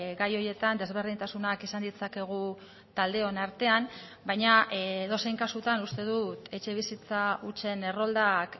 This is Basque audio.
gai horietan desberdintasunak izan ditzakegu taldeon artean baina edozein kasutan uste dut etxebizitza hutsen erroldak